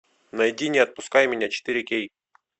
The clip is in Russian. найди не отпускай меня четыре кей